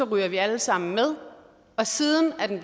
røg vi alle sammen med og siden er den